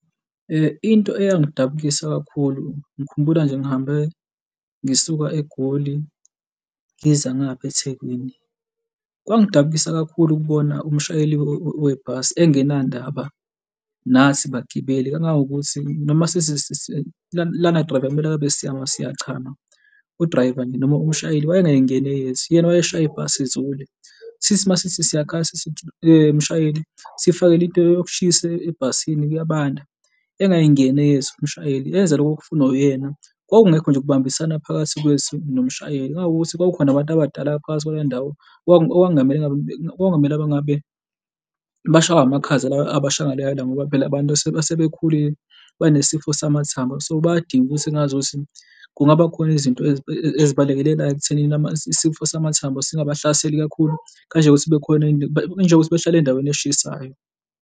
Into eyangidabukisa kakhulu ngikhumbula nje ngihambe ngisuka eGoli, ngiza ngapha ethekwini. Kwangidabukisa kakhulu ukubona umshayeli webhasi engenandaba nathi bagibeli engangokuthi noma sithi lana driver kumele ngabe siyachama, u-driver nje noma umshayeli wayengayingena eyethu, yena wayeshaya ibhasi izule, sithi uma sithi siyakhala sithi mshayeli sifakele into yokushisa ebhasini kuyabanda engayingeni eyethu umshayeli enze loko okufunwa uyena, kwakungekho nje ukubambisana phakathi kwethu nomshayeli kungangokuthi uma kukhona abantu abadala ngaphakathi kwaleyo ndawo okungamele ngabe, kwakungamele engabe bashawe amakhaza lawa abasha ngaleyo ndlela. Ngoba phela labantu asebekhulile benesifo samathambo, so bayadinga ukuthi engazuthi kungaba khona izinto ezibalekelelayo ekuthenini isifo samathambo singabahlaseli kakhulu kanjengokuthi kube khona kunjengokuthi behlale endaweni eshisayo.